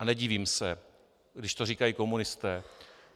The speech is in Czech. A nedivím se, když to říkají komunisté.